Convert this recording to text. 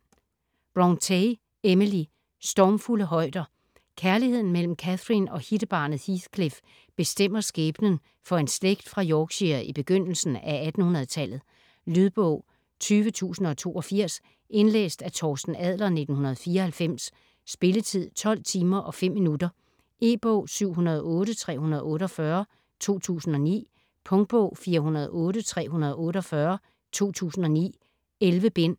Brontë, Emily: Stormfulde højder Kærligheden mellem Catherine og hittebarnet Heathcliff bestemmer skæbnen for en slægt fra Yorkshire i begyndelsen af 1800-tallet. Lydbog 20082 Indlæst af Torsten Adler, 1994. Spilletid: 12 timer, 5 minutter. E-bog 708348 2009. Punktbog 408348 2009. 11 bind.